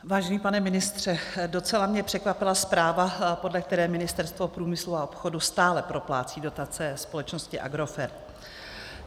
Vážený pane ministře, docela mě překvapila zpráva, podle které Ministerstvo průmyslu a obchodu stále proplácí dotace společnosti Agrofert.